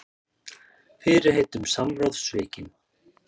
Fyrirheit um samráð svikin